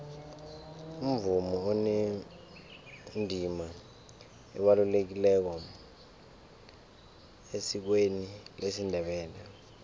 umvumo unendima ebalulekileko esikweni lesindebele